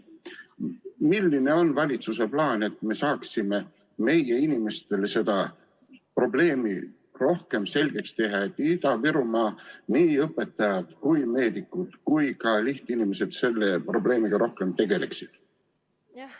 Milline on valitsuse plaan, et me saaksime meie inimestele seda teemat rohkem selgitada, et Ida-Virumaal nii meedikud kui ka teised inimesed selle probleemiga rohkem tegeleksid?